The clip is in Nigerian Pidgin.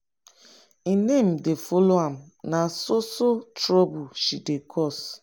im name dey follow am na so so trouble she dey cause.